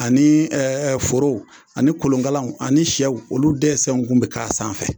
Ani ɛɛ forow ani kolonkalaw ani sɛw olu dɛsɛ tun bɛ k'a sanfɛ